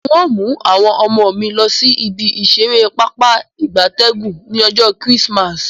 N o mu awon omo mi losi ibi isere papa igabtegun ni ojo Chrismas